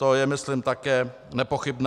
To je myslím také nepochybné.